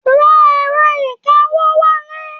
Ra èrọ ìkawó wálé.